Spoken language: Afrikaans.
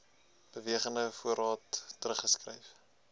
bewegende voorraad teruggeskryf